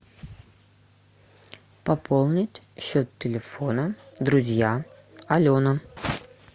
пополнить счет телефона друзья алена